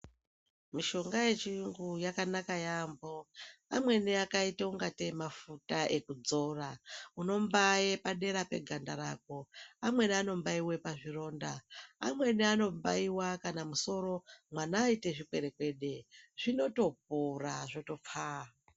Mishonga yechiyungu yakanaka yaampho. Amweni akaite ungatei mafuta ekudzora. Unombaye padera peganda rako. Amweni anombaiwe pazvironda. Amweni anombaiwa kana musoro mwana aite zvikwerekwede, zvinotopora zvotopfaa.